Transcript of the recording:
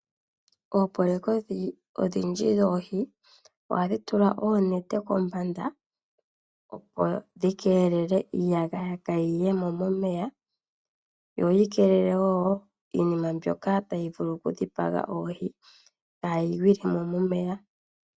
Oopoloyeka odhindji dhoohi ohadhi tula oonete kombanda, opo dhi keelele iiyagaya kaayi ye mo momeya yo yi keelele wo iinima mbyoka tayi vulu okudhipaga oohi kayi gwile mo momeya.